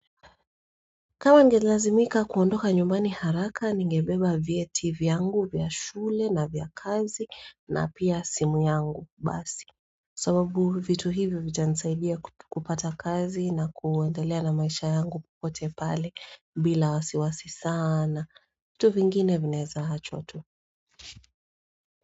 Kama ningelazimika kuondoka nyumbani haraka, ningebeba vyeti vyangu vya shule na vya kazi na pia simu yangu, basi. Sababu vitu hivi vitanisaidia kupata kazi na kuendelea na maisha yangu popote pale bila wasiwasi sana. Vitu vingine vinaeza achwa tu.